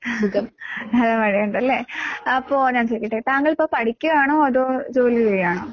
നല്ല മഴയുണ്ടല്ലേ? അപ്പോ ഞാൻ ചോയിക്കട്ടെ താങ്കളിപ്പോ പഠിക്കുവാണോ അതോ ജോലി ചെയ്യാണോ?